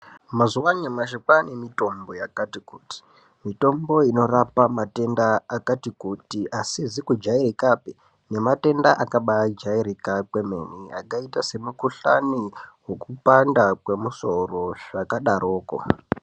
Mazuva anyamashi kwane mitombo yakati kuti mitombo inorapa matenda akati kuti asizi kujairikapi nema tenda akabai jairika kwemene akaita se mukudhlani wokupanda kwomusoro zvaka daroko.